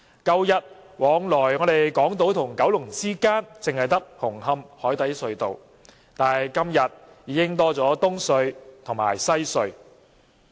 舊日連接港島與九龍之間只有紅磡海底隧道，但今天已經增加了東區海底隧道及西區海底隧道。